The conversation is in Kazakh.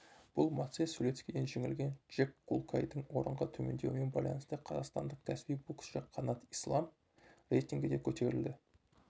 бұл мацей сулецкиден жеңілген джек кулкайдың орынға төмендеуімен байланысты қазақстандық кәсіби боксшы қанат ислам рейтингінде көтерілді